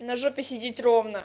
на жопе сидит ровно